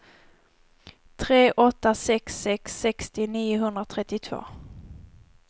tre åtta sex sex sextio niohundratrettiotvå